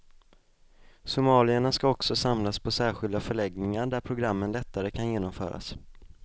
Somalierna ska också samlas på särskilda förläggningar där programmen lättare kan genomföras.